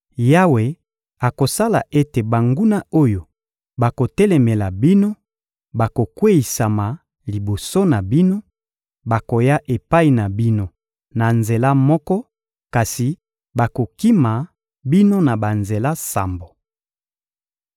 Yawe akosala ete banguna oyo bakotelemela bino bakokweyisama liboso na bino; bakoya epai na bino na nzela moko, kasi bakokima bino na banzela sambo.